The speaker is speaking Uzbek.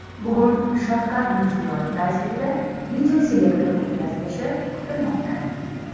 Bugun Shavkat Mirziyoyev raisligida videoselektor o‘tkazilishi kutilmoqda.